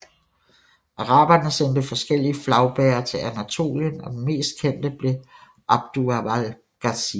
Araberne sendte forskellige flagbærer til Anatolien og den mest kendte blev Abdulvahap Gazi